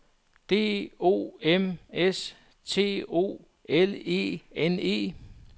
D O M S T O L E N E